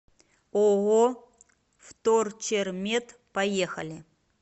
ооо вторчермет поехали